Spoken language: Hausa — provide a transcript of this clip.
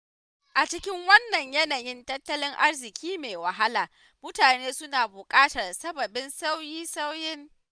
A cikin wannan yanayin tattalin arziki mai wahala mutane suna bukatar sababbin sauye-sauyen.